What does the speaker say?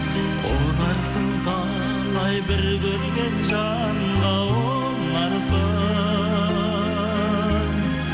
ұнарсың талай бір көрген жанға ұнарсың